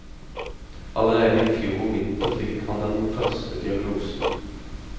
Allerede i fjor vinter fikk han den første diagnosen.